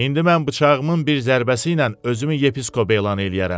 İndi mən bıçağımın bir zərbəsi ilə özümü yepiskop elan eləyərəm.